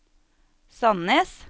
Sandnes